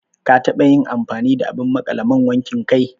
Ka taɓa yin amfani da abin maƙale man wankin kai